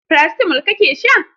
Paracetamol kake sha?